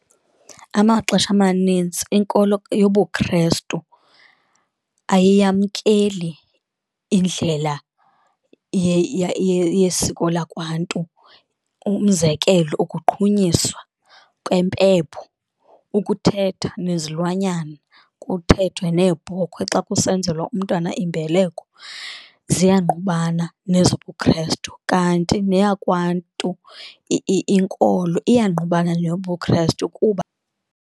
Amaxesha amanintsi inkolo yobuKrestu ayiyamkeli indlela yesiko lakwaNtu, umzekelo ukuqhunyiswa kwempepho, ukuthetha nezilwanyana kuthethwe neebhokhwe xa kusenzelwa umntwana imbeleko, ziyangqubana nezobuKrestu. Kanti neyakwaNtu inkolo iyangqubana neyobuKrestu kuba .